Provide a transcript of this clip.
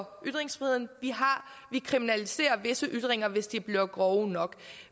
kriminalisere ytringer